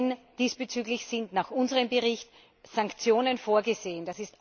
Denn diesbezüglich sind nach unserem Bericht Sanktionen vorgesehen.